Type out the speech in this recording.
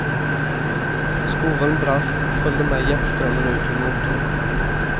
Skoveln brast och följde med jetströmmen ut ur motorn.